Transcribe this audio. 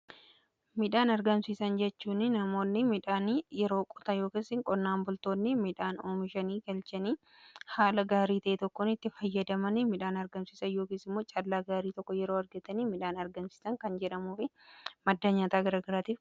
Midhaan argamsiisan jechuun namoonni midhaanii yeroo qotan ykn qonnaan bultoonni midhaan oomishanii galchanii haala gaarii ta'ee tokkoon itti fayyadaman midhaan argamsiisan yookiin immoo callaa gaarii tokko yeroo argatanii midhaan argamsiisan kan jedhamuufi madda nyaataa garagaraatii.